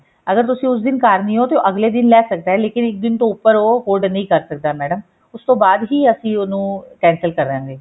ਅਗਰ ਤੁਸੀਂ ਉਸ ਦਿਨ ਘਰ ਨਹੀਂ ਹੋ ਤੇ ਅਗਲੇ ਦਿਨ ਲੈ ਸਕਦਾ ਹੈ ਲੇਕਿਨ ਉਹ ਦਿਨ ਤੋਂ ਉੱਪਰ ਉਹ hold ਨਹੀਂ ਕਰ ਸਕਦਾ ਮੈਡਮ ਉਸ ਤੋਂ ਬਾਅਦ ਹੀ ਅਸੀਂ ਉਹਨੂੰ cancel ਕਰਾਂਗੇ